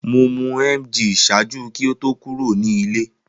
Mo mu emgyl ṣaaju ki o to kuro ni ile.